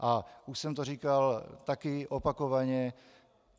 A už jsem to říkal taky opakovaně.